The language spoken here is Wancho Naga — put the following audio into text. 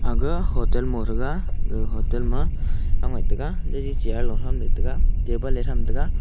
ga hotel mo taga ga hotel ma taga chair loham taga table hetam taga.